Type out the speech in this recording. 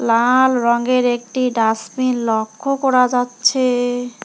লাল রঙের একটি ডাস্টবিন লক্ষ করা যাচ্ছে।